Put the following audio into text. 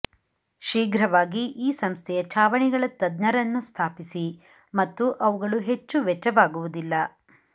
ಶೀಘ್ರವಾಗಿ ಈ ಸಂಸ್ಥೆಯ ಛಾವಣಿಗಳ ತಜ್ಞರನ್ನು ಸ್ಥಾಪಿಸಿ ಮತ್ತು ಅವುಗಳು ಹೆಚ್ಚು ವೆಚ್ಚವಾಗುವುದಿಲ್ಲ